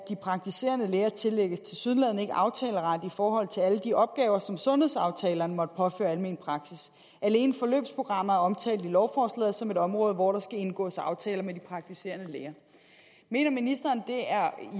de praktiserende læger tillægges tilsyneladende ikke aftaleret i forhold til alle de opgaver som sundhedsaftalerne måtte påføre almen praksis alene forløbsprogrammer er omtalt i lovforslaget som et område hvor der skal indgås aftaler med de praktiserende læger mener ministeren at det er